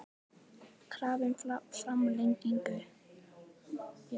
Krafa um framlengingu